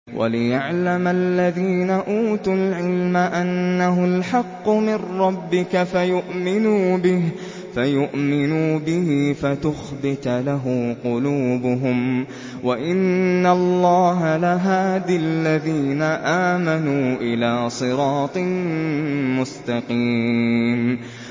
وَلِيَعْلَمَ الَّذِينَ أُوتُوا الْعِلْمَ أَنَّهُ الْحَقُّ مِن رَّبِّكَ فَيُؤْمِنُوا بِهِ فَتُخْبِتَ لَهُ قُلُوبُهُمْ ۗ وَإِنَّ اللَّهَ لَهَادِ الَّذِينَ آمَنُوا إِلَىٰ صِرَاطٍ مُّسْتَقِيمٍ